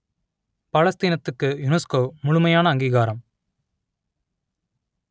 பாலஸ்தீனத்துக்கு UNESCO முழுமையான அங்கீகாரம்